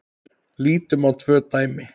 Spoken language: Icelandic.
Lítum á tvö dæmi.